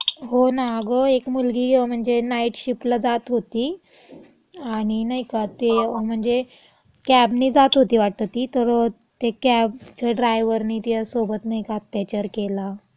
हो ना. अगं एक मुलगी म्हणजे नाईट शिफ्टला जात होती आणि नाई का ते म्हणजे कॅबने जात होती वाटतं ती तर ते कॅबच्या ड्रायवरने तियासोबत नाई का अत्याचार केला.हं, हं.